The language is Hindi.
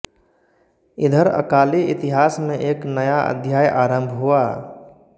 इधर अकाली इतिहास में एक नया अध्याय आरंभ हुआ